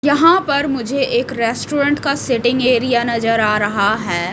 यहां पर मुझे एक रेस्टोरेंट का सेटिंग एरिया नजर आ रहा है।